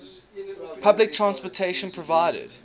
public transportation provided